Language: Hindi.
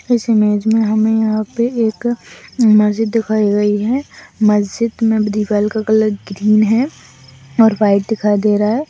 इस इमेज में हमें यहाँ पे एक मस्जिद दिखाई गई है मस्जिद में दीवाल का कलर ग्रीन है और व्हाइट दिखाई दे रहा हैं।